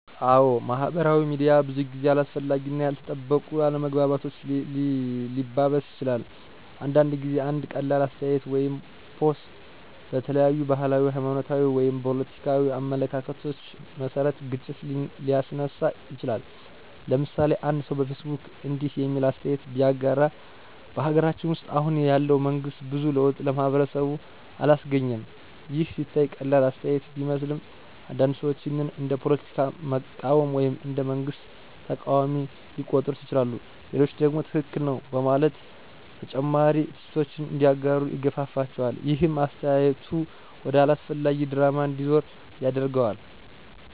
አዎ፣ ማህበራዊ ሚዲያ ብዙ ጊዜ አላስፈላጊ እና ያልተጠበቁ አለመግባባቶችን ሊያባብስ ይችላል። አንዳንድ ጊዜ አንድ ቀላል አስተያየት ወይም ፖስት በተለያዩ ባህላዊ፣ ሃይማኖታዊ ወይም ፖለቲካዊ አመለካከቶች መሰረት ግጭት ሊያስነሳ ይችላል። ለምሳሌ፦ አንድ ሰው በፌስቡክ እንዲህ የሚል አስተያየት ቢያጋራ። " በሀገራችን ውስጥ አሁን ያለው መንግስት ብዙ ለውጥ ለማህበረሰባችን አላስገኘም " ይህ ሲታይ ቀላል አስተያየት ቢመስልም፣ አንዳንድ ሰዎች ይህን እንደ ፖለቲካ መቃወም ወይም እንደ መንግስት ተቃዋሚ ሊቆጥሩት ይችላሉ። ሌሎቹ ደግሞ ትክክል ነው በማለት ተጨማሪ ትችቶችን እንዲያጋሩ ይገፋፋቸዋል። ይህም አስተያየቱ ወደ አላስፈላጊ ድራማ እንዲዞር ያደርገዋል።